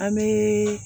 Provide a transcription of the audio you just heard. An bɛ